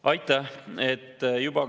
Aitäh!